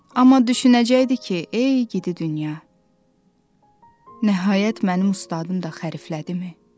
Amma düşünəcəkdi ki, ey gidi dünya, nəhayət mənim ustadım da xəriflədimi?